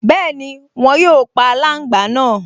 Bẹ́ẹ̀ni, wọn yóò pa aláǹgbá náà